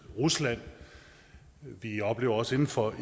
rusland vi oplever også inden for